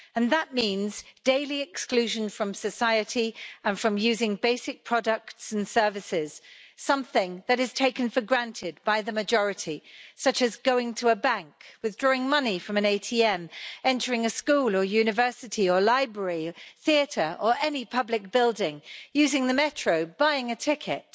That means daily exclusion from society and from using basic products and services, something that is taken for granted by the majority, such as going to a bank, withdrawing money from an ATM, entering a school or university or library, a theatre or any public building, using the metro, buying a ticket.